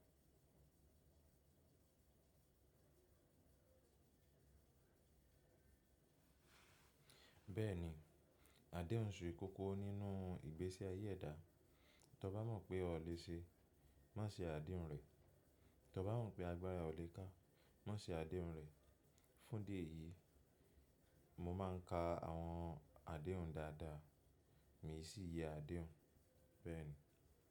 Bẹ́ẹ̀ni, àdéhùn sé kòkò nínú ìgbésè ayé ẹ̀dá. Tí o bá mọ̀ pé o lè ṣe, má ṣe àdéhùn rẹ. Tí o bá mọ̀ pé agbára ẹ́ o lè ká, má ṣe àdéhùn rẹ. Fún di eyìí, mo máà ń ka àwọn àdéhùn dáadáa, mii sì yẹ àdéhùn. Bẹ́ẹ̀ni.